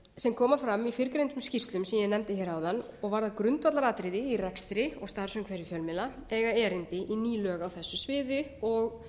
sem koma fram í fyrrgreindum skýrslu sem ég nefndi áðan og varða grundvallaratriði í rekstri og starfsumhverfi fjölmiðla eiga erindi í ný lög á þessu sviði og